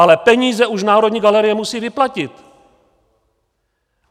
Ale peníze už Národní galerie musí vyplatit.